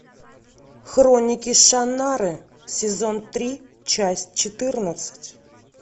хроники шаннары сезон три часть четырнадцать